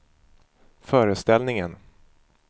föreställningen